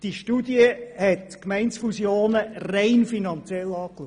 Diese Studie hat Gemeindefusionen rein finanziell untersucht.